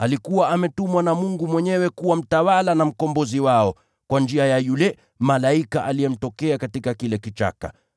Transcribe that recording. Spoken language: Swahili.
Alikuwa ametumwa na Mungu mwenyewe kuwa mtawala na mkombozi wao, kwa njia ya yule malaika aliyemtokea katika kile kichaka.